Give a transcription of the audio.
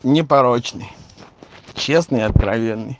непорочный честный и откровенный